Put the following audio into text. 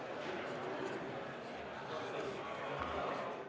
Istungi lõpp kell 10.07.